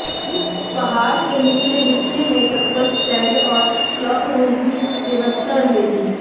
पहाड़ के निचले हिस्से में चप्पल स्टैंड और क्लॉक रूम की व्यवस्था रहेगी